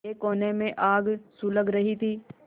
एक कोने में आग सुलग रही थी